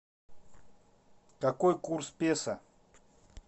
какой курс песо